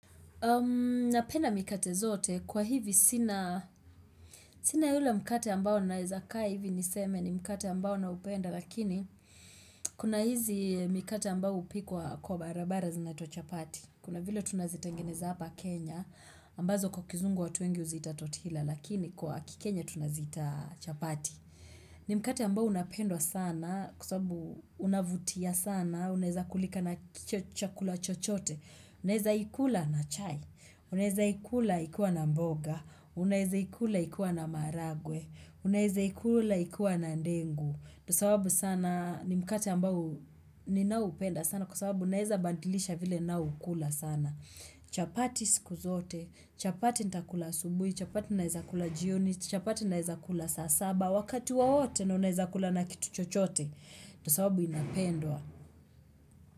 Napenda mikate zote kwa hivi sina sina yulea mkate ambao naweza kaa hivi niseme ni mkate ambao naupenda lakini kuna hizi mkate ambao hupikwa kwa barabara ziniatwa chapati. Kuna vile tunazitengeneza hapa Kenya ambazo kwa kizungu watu wengi huziita totila lakini kwa kikenya tunazita chapati. Ni mkate ambao unapendwa sana kwa sababu unavutia sana unaweza kulika na chakula chochote. Unaweza ikula na chai, unaweza ikula ikiwa na mboga, unaweza ikula ikiwa na maharagwe, unaweza ikula ikiwa na ndengu. Sababu sana ni mkate ambao ninaupenda sana kwa sababu naweza badilisha vile naukula sana. Chapati siku zote, chapati nitakula asubuhi, chapati naweza kula jioni, chapati naweza kula saa saba. Wakati wowote na unaweza kula na kitu chochote, ndio sababu inapendwa.